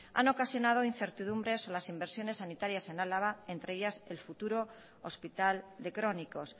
ulua han ocasionado incertidumbres en las inversiones sanitarias en álava entre ellas el futuro hospital de crónicos